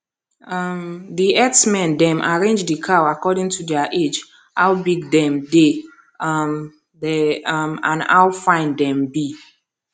um the herdsmen dem arrange the cow according to their age how big them dey um dey um and how fine them be